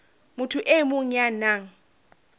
motho e mong ya nang